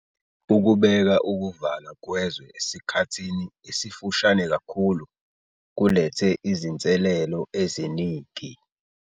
Ukubeka ukuvalwa kwezwe esikhathini esifushane kakhulu kulethe izinselelo eziningi.